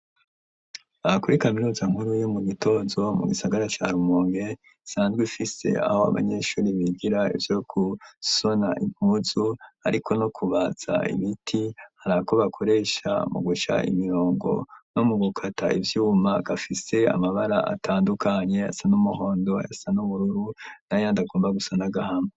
Aha kuri kaminuza nkuru yo mu Gitozo mu gisagara ca Rumunge isanzwe ifise aho abanyeshuri bigira ivyo gusona impuzu ariko no kubaza ibiti hari ako bakoresha mu guca imirongo no mu gukata ivyuma gafise amabara atandukanye ayasa n'umuhondo ayasa ,n'ubururu n'ayandi agomba gusa n'agahama.